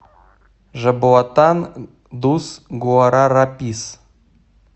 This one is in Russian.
жабоатан дус гуарарапис